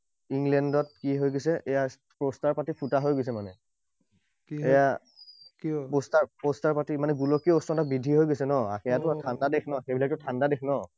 ইংলেণ্ডত কি হৈ গৈছে, এইয়া poster পাতি ফুটা হৈ গৈছে মানে। এইয়া poster, poster পাতি মানে গোলকীয় উষ্ণতা বৃদ্ধি হৈ গৈছে ন? সেইবিলাকতো ঠাণ্ডা দেশ ন?